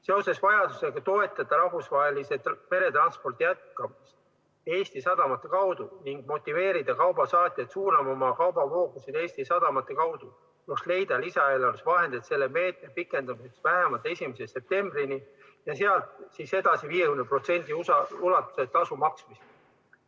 Seoses vajadusega toetada rahvusvahelist meretransporti Eesti sadamate kaudu ning motiveerida kaubasaatjaid suunama oma kaubavoogusid Eesti sadamate kaudu tuleks leida lisaeelarves vahendeid selle meetme pikendamiseks vähemalt 1. septembrini ja siis edasi 50% ulatuses tasu maksmiseks.